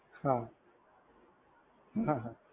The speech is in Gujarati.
હા હાહા